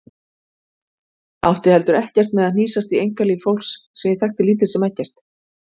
Átti heldur ekkert með að hnýsast í einkalíf fólks sem ég þekkti lítið sem ekkert.